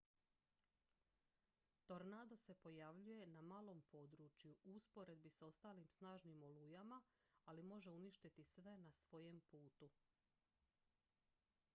tornado se pojavljuje na malom području u usporedbi s ostalim snažnim olujama ali može uništiti sve na svojem putu